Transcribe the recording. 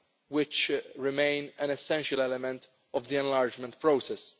which remain an essential element of the enlargement process.